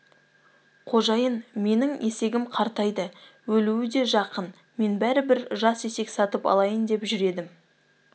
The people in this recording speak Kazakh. қожайын менің есегім қартайды өлуі де жақын мен бәрібір жас есек сатып алайын деп жүр едім